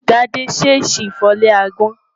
Tádé ṣèèṣì fọ́ ilé agbọ́n.